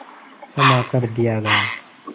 क्षमा कर दिया गया